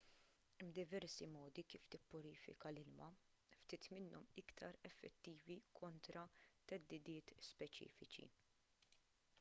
hemm diversi modi kif tippurifika l-ilma ftit minnhom iktar effettivi kontra theddidiet speċifiċi